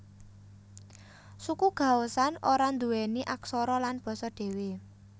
Suku Gaoshan ora nduweni aksara lan basa dhewe